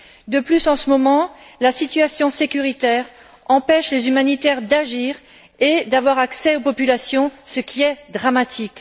De plus, en ce moment, la situation sécuritaire empêche les humanitaires d'agir et d'avoir accès aux populations, ce qui est dramatique.